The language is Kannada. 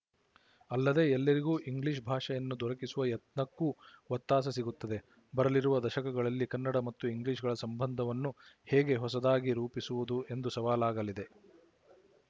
ಅಲ್ಲದೆ ಎಲ್ಲರಿಗೂ ಇಂಗ್ಲಿಶ ಭಾಷೆಯನ್ನು ದೊರಕಿಸುವ ಯತ್ನಕ್ಕೂ ಒತ್ತಾಸೆ ಸಿಗುತ್ತದೆ ಬರಲಿರುವ ದಶಕಗಳಲ್ಲಿ ಕನ್ನಡ ಮತ್ತು ಇಂಗ್ಲಿಶ‍ಗಳ ಸಂಬಂಧವನ್ನು ಹೇಗೆ ಹೊಸದಾಗಿ ರೂಪಿಸುವುದು ಎಂದು ಸವಾಲಾಗಲಿದೆ